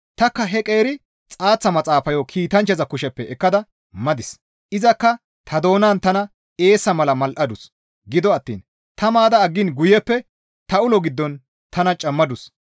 Tanikka he qeeri xaaththa maxaafayo kiitanchchaza kusheppe ekkada madis; izakka ta doonan tana eessa mala mal7adus; gido attiin ta maada aggiin guyeppe ta ulo giddon tana cammadus.